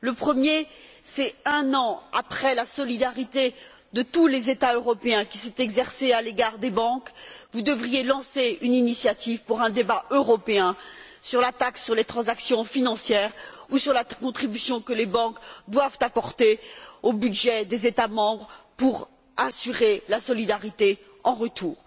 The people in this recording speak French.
Le premier, c'est qu'un an après la solidarité que tous les États européens ont exercé à l'égard des banques, vous devriez lancer une initiative pour un débat européen sur la taxe sur les transactions financières ou sur la contribution que les banques doivent apporter au budget des États membres pour assurer la solidarité en retour.